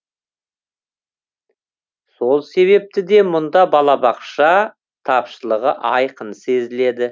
сол себепті де мұнда балабақша тапшылығы айқын сезіледі